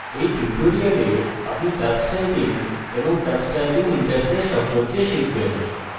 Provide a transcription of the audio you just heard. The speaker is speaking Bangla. in tutorial আপনি tux typing এবং tux typing interface সম্পর্কে শিখবেন